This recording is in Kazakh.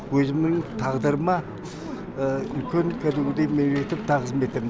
үлкен кәдімгідей мен бүйтіп тағзым етемін